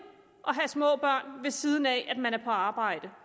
at have små børn ved siden af at man er på arbejde